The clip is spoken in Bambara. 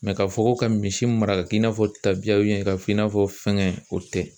ka fɔ ko ka misi mara ka k'i n'a fɔ tabiya ka f'i n'a fɔ fɛngɛ o tɛ